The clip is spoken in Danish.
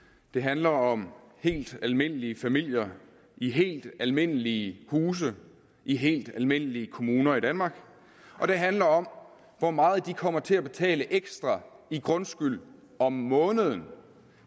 det handler om helt almindelige familier i helt almindelige huse i helt almindelige kommuner i danmark og det handler om hvor meget de kommer til at betale ekstra i grundskyld om måneden